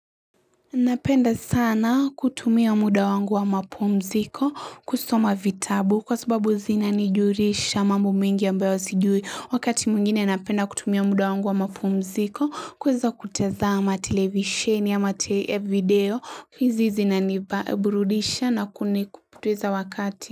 Napenda sana kutumia muda wangu wa mapumziko kusoma vitabu kwa sababu zinanijulisha mambo mingi ambayo sijui wakati mwingine napenda kutumia muda wangu wa mapumziko kuweza kutazama televisheni ama video hizi zinanipa burudisha na kuni kupoteza wakati.